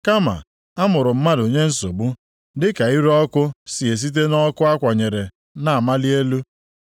Kama, a mụrụ mmadụ nye nsogbu, + 5:7 \+xt 14:1\+xt* dịka ire ọkụ si esite nʼọkụ a kwanyere na-amali elu.